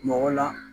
Mɔgɔ la